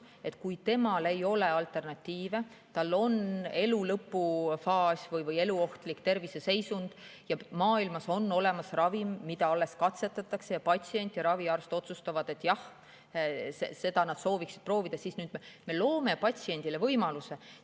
Kui ei ole alternatiive, ta elu on lõpufaasis või tal on eluohtlik terviseseisund ja maailmas on olemas ravim, mida alles katsetatakse, ning patsient ja raviarst otsustavad, et jah, seda nad sooviksid proovida, siis nüüd me loome patsiendile selle võimaluse.